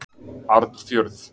Arnfjörð